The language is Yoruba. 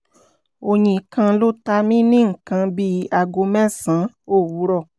oyin kan ló ta mi ní nǹkan bí aago mẹ́sàn-án òwúrọ̀